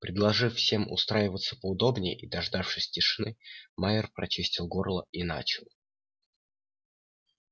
предложив всем устраиваться поудобнее и дождавшись тишины майер прочистил горло и начал